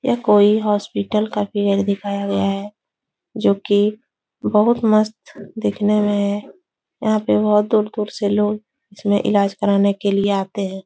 यह कोई हॉस्पिटल का फिगर दिखाया गया है जो कि बहुत मस्त दिखने में है यहाँ पे बहोत दूर-दूर से लोग इसमें इलाज कराने के लिए आते हैं।